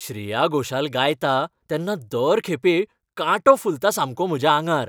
श्रेया घोषाल गायता तेन्ना दर खेपे कांटो फुलता सामको म्हज्या आंगार.